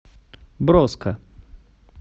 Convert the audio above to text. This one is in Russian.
броско